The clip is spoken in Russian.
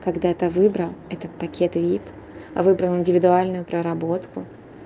когда-то выбрал этот пакет вип выбрал индивидуальную проработку